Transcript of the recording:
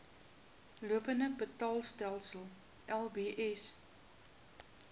lopende betaalstelsel lbs